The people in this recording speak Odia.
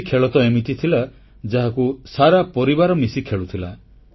କିଛି ଖେଳ ତ ଏମିତି ଥିଲା ଯାହାକୁ ସାରା ପରିବାର ମିଶି ଖେଳୁଥିଲା